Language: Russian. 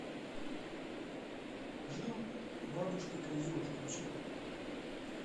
жил у бабушки козел включи